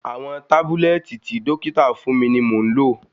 Àwọn tábúlẹ́ẹ̀tì tí dọ́kítà fún mi ni mò ń lò.